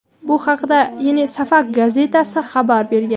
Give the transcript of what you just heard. Bu haqda "Yeni Safak" gazetasi xabar bergan.